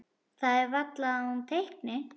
Það er varla að hún teikni.